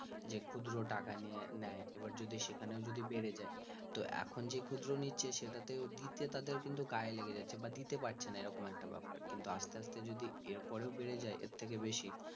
যে ক্ষুদ্র টাকা নিয়ে নেয় এবার যদি সেখানে ও যদি বেড়ে যায় তো এখন যে ক্ষুদ্র নিচ্ছে সেটাতেও দিতে তাদের কিন্তু গায়ে লেগে যাচ্ছে বা দিতে পারছেনা এরকম একটা ব্যাপার কিন্তু আস্তে আস্তে যদি এর পরে ও বেড়ে যায় এর থেকে ও বেশি